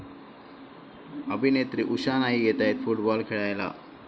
अभिनेत्री उषा नाईक येतायत फुटबाॅल खेळायला!